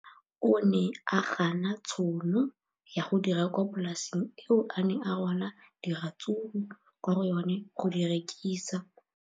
O ne a gana tšhono ya go dira kwa polaseng eo a neng rwala diratsuru kwa go yona go di rekisa.